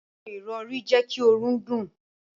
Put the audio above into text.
Àwọn irọri jé kí òrùn dùn.